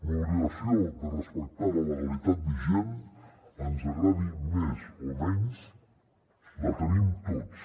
l’obligació de respectar la legalitat vigent ens agradi més o menys la tenim tots